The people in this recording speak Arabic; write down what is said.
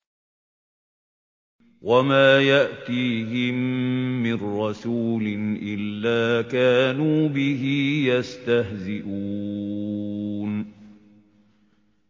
وَمَا يَأْتِيهِم مِّن رَّسُولٍ إِلَّا كَانُوا بِهِ يَسْتَهْزِئُونَ